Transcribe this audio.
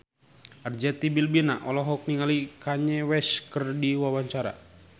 Arzetti Bilbina olohok ningali Kanye West keur diwawancara